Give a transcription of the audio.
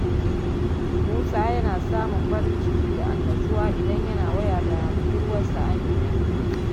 Musa yana samun farin ciki da annashuwa idan yana waya da budurwarsa Amina.